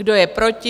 Kdo je proti?